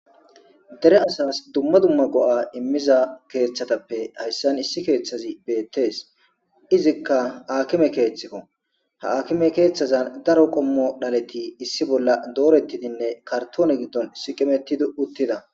dere asas dumma dumma go'a immiza keeththatappe hayssan issi keeththazi beettees. izikka akime keeththikko. ha akime keeththazan daro qommo dhaleti issi bolla doorettidinne kartoone giddon siiqimetidi uttida.